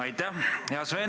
Aitäh!